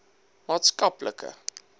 maatskaplike